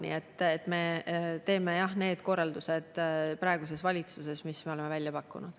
Nii et me teeme need korraldused praeguses valitsuses, mis me oleme välja pakkunud.